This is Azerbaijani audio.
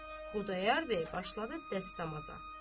Xudayar bəy başladı dəstəmaza.